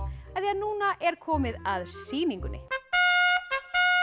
af því núna er komið að sýningunni